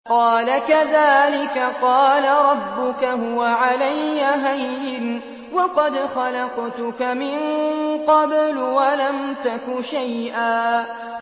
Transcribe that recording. قَالَ كَذَٰلِكَ قَالَ رَبُّكَ هُوَ عَلَيَّ هَيِّنٌ وَقَدْ خَلَقْتُكَ مِن قَبْلُ وَلَمْ تَكُ شَيْئًا